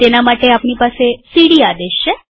તેના માટે આપણી પાસે સીડી આદેશ છે